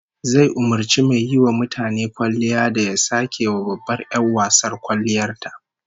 Zai umurci mai yiwa mutane kwalliya da ya sake wa babbar 'yar wasar kwalliyar ta